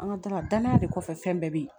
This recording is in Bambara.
An ka danaya danaya de kɔfɛ fɛn bɛɛ be ye